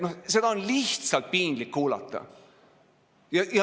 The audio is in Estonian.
Seda on lihtsalt piinlik kuulata.